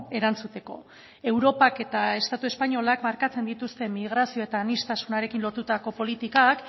erantzuteko europak eta estatu espainolak markatzen dituzten migrazio eta aniztasunarekin lotutako politikak